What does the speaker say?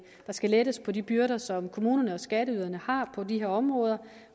skal lettes på de byrder som kommunerne og skatteyderne har på de her områder